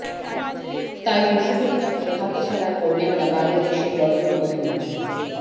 তাই তো সুযোগটা পেয়ে হাতছাড়া করলেন না বাংলাদেশের বরেণ্য অভিনেত্রী